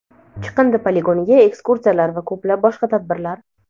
chiqindi poligoniga ekskursiyalar va ko‘plab boshqa tadbirlar.